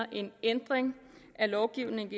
at en ændring af lovgivningen